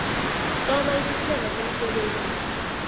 hloma isiqhema somsebenzi